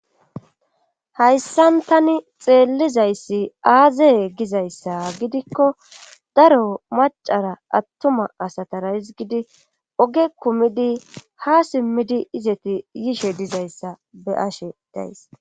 hayssan tani xeellizayssi aazee gizayssa gidikko daro macara attuma asatara hizgidi oge kumidi ha simmidi izeti yishe dizayssa be ashe days